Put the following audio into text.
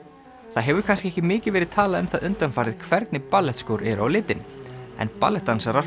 það hefur kannski ekki mikið verið talað um það undanfarið hvernig eru á litinn en